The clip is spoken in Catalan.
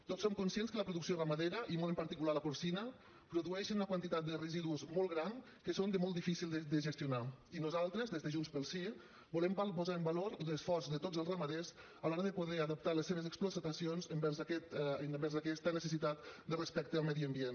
tots som conscients que la producció ramadera i molt en particular la porcina produeix una quantitat de residus molt gran que són molt difícils de gestionar i nosaltres des de junts pel sí volem posar en valor l’esforç de tots els ramaders a l’hora de poder adaptar les seves explotacions envers aquesta necessitat de respecte al medi ambient